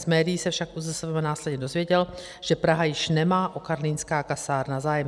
Z médií se však ÚZSVM následně dozvěděl, že Praha již nemá o karlínská kasárna zájem.